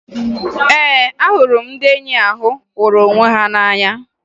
Ee, ahụrụ m ndị enyi ahụ hụrụ onwe ha n'anya